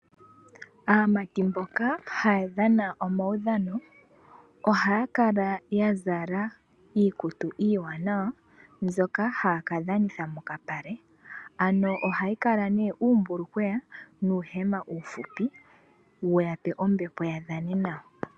Aamati mboka haya dhana omaudhano ohaya kala yazala iikutu iiwanawa mbyoka haya kadhanitha mokapale, ano ohayi kaka nee uumbulukweya nuuhema uufupi wuyape ombepo yavdhane nawa.